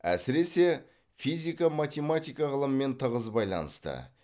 әсіресе физика математика ғылымымен тығыз байланысты